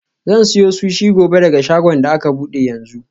Zan siyo sushi gobe daga shagon da aka bude yanzu.